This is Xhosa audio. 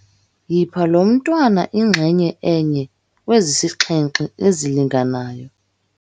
Yipha lo mntwana inxenye enye kwezisixhenxe ezilinganayo.